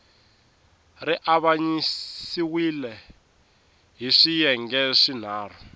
ri avanyisiwile hi swiyenge swinharhu